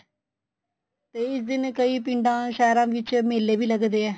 ਤੇ ਇਸ ਦਿਨ ਕਈ ਪਿੰਡਾ ਸਹਿਰਾ ਵਿੱਚ ਮੇਲੇ ਵੀ ਲੱਗਦੇ ਏ